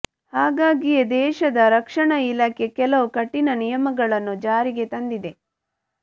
ಹಾಗಾಗಿಯೇ ದೇಶದ ರಕ್ಷಣಾ ಇಲಾಖೆ ಕೆಲವು ಕಠಿಣ ನಿಯಮಗಳನ್ನು ಜಾರಿಗೆ ತಂದಿದೆ